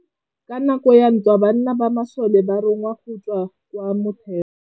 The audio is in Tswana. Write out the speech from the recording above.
Ka nakô ya dintwa banna ba masole ba rongwa go tswa kwa mothêô.